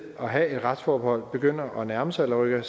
have et retsforbehold begynder at nærme sig eller rykker